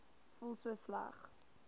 voel so sleg